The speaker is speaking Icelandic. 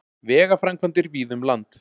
Vegaframkvæmdir víða um land